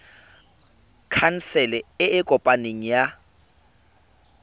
khansele e e kopaneng ya